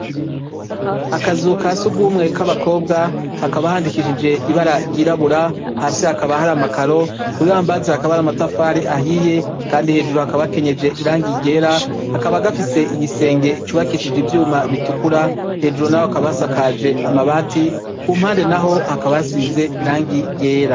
Akazu kasugumwe k'abakobwa hakaba handikishije ibara ry'irabura, hasi hakaba hari amakaro, Kuk'Ibambazi hakaba hari amatafari ahiye kandi hejuru hakaba hakenyeje irangi ryera, kakaba gafise igisenge cubakishijwe ivyuma bitukura, hejuru naho hakaba hasakajwe amabati kumpande naho hakaba hasize irangi ryera.